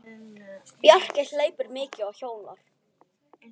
Bjarki hleypur mikið og hjólar.